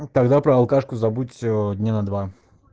тогда про алкашку забудь дня на два